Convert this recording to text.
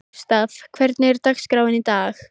Gústav, hvernig er dagskráin í dag?